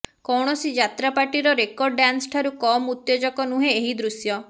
କୌଣସି ଯାତ୍ରା ପାର୍ଟିର ରେକର୍ଡ ଡ୍ୟାନ୍ସଠାରୁ କମ୍ ଉତ୍ତେଜକ ନୁହେଁ ଏହି ଦୃଶ୍ୟ